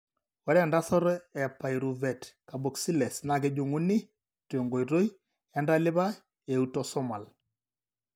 Ore entasato ePyruvate carboxylase naa kejung'uni tenkoitoi entalipa eautosomal.